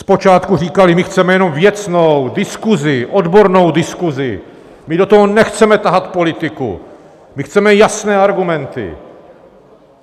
Zpočátku říkali: My chceme jenom věcnou diskuzi, odbornou diskuzi, my do toho nechceme tahat politiku, my chceme jasné argumenty.